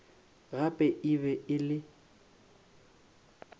gape e be e le